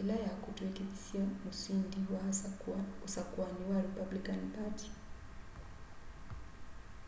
ila yakutwikithisye musĩndi wa usakũani wa republican party